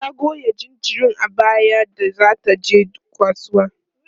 ta Goya jinjirin a baya da zata je kasuwa